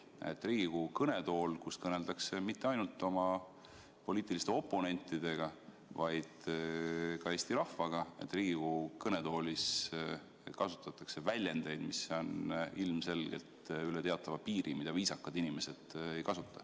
Nägime, et Riigikogu kõnetoolis, kust kõneldakse mitte ainult oma poliitiliste oponentidega, vaid ka Eesti rahvaga, kasutatakse väljendeid, mis on ilmselgelt üle teatava piiri ja mida viisakad inimesed ei kasuta.